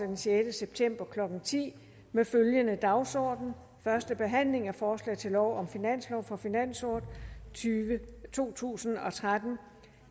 den sjette september klokken ti med følgende dagsorden første behandling af forslag til lov om finanslov for finansåret to tusind og tretten